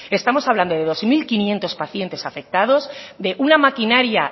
estamos hablando de dos mil quinientos pacientes afectados de una maquinaria